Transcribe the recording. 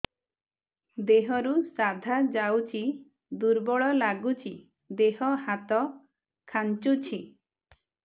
ଦେହରୁ ସାଧା ଯାଉଚି ଦୁର୍ବଳ ଲାଗୁଚି ଦେହ ହାତ ଖାନ୍ଚୁଚି